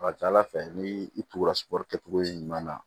A ka ca ala fɛ ni i tugura sugɔrɔri kɛcogo ɲuman na